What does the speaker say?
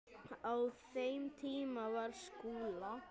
Á þeim tíma var Skúla